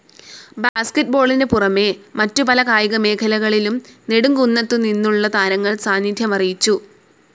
ബാസ്ക്കറ്റ്ബോളിനു പുറമെ മറ്റു പല കായിക മേഖലകളിലും നെടുംകുന്നത്തുനിന്നുള്ള താരങ്ങൾ സാന്നിധ്യമറിയിച്ചു.